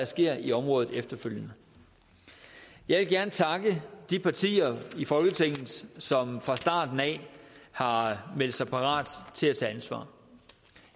sker i området efterfølgende jeg vil gerne takke de partier i folketinget som fra starten har meldt sig parat til at tage ansvar